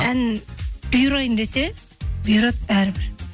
ән бұйырайын десе бұйырады бәрібір